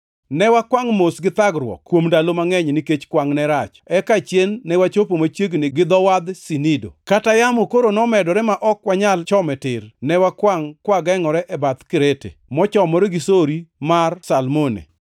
Ne wakwangʼ mos gi thagruok kuom ndalo mangʼeny nikech kwangʼ ne rach, eka achien ne wachopo machiegni gi dho wadh Sinido. Kaka yamo koro nomedore ma ok wanyal chome tir, ne wakwangʼ kwagengʼore e bath Krete, mochomore gi sori mar Salmone.